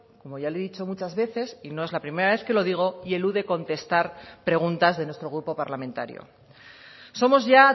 como ya le he dicho muchas veces y no es la primera vez que lo digo y elude contestar preguntas de nuestro grupo parlamentario somos ya